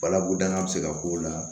Balakodanya bɛ se ka k'o la